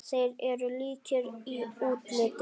Þeir eru líkir í útliti.